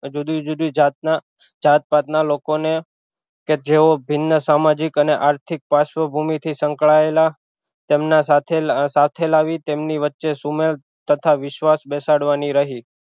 જુદી જુદી જાત ના જાતભાત ના લોકો ને કે જેવો ભિન્ન સામાજિક અને આર્થિક પાશ્વ ભૂમિ થી સંકળાયેલા તેમના સાથે લાવી તેમની વચ્ચે સુમેળ તથા વિશ્વાસ બેસાડવાની રહી